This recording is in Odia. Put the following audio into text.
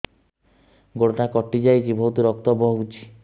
ଗୋଡ଼ଟା କଟି ଯାଇଛି ବହୁତ ରକ୍ତ ବହୁଛି